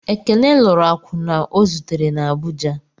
Ekene lụrụ akwụna o zutere na Abụja.